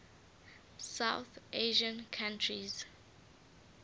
south asian countries